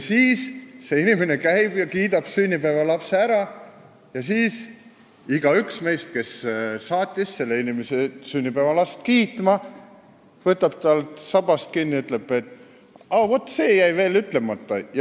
Siis see inimene käib ja kiidab sünnipäevalapse ära, aga seejärel igaüks meist, kes saatis selle inimese sünnipäevalast kiitma, võtab tal sabast kinni ja ütleb, et vaat see jäi veel ütlemata.